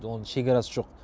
оның шекарасы жоқ